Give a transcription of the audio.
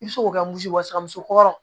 I bɛ se k'o kɛ muso kɔrɔ